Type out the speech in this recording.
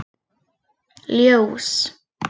Ljós